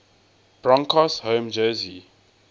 broncos home jersey